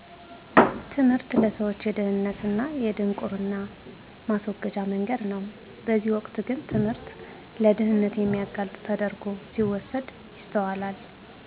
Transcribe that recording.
ትምህርት ለሰዎች የድህነት እና የድንቁርና ማስወገጃ መንገድ ነው በዚህ ወቅት ግን ትምህርት ለድህነት የሚያጋልጥ ተደረጉ ሲወሰድ ይስተዋላል